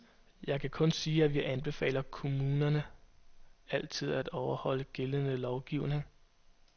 Jeg kan kun sige, at vi anbefaler kommunerne altid at overholde gældende lovgivning.